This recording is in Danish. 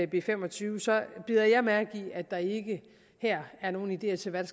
b fem og tyve bider jeg mærke i at der ikke her er nogen ideer til hvad